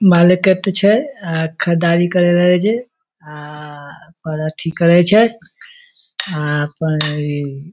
market छै अ खरीददारी करे ले जे आ अ पर अथी करे छै अपन इ --